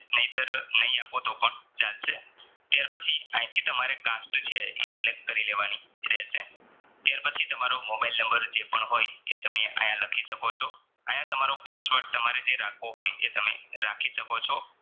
ત્યાર પછી આંયથી તમારે cast છે ઈ Select કરી લેવાની રહેશે ત્યાર પછી તમારો મોબાઈલ નંબર જે પણ હોય એ તમે આયા લખી શકો છો. આયા તમારો password તમારે જે રાખવો હોય એ તમે રાખી શકો છો